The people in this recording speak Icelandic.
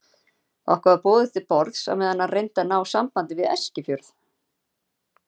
Okkur var boðið til borðs á meðan hann reyndi að ná sambandi við Eskifjörð.